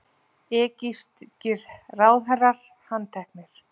Egypskir ráðherrar handteknir